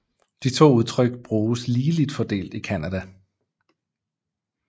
De to udtryk bruges ligeligt fordelt i Canada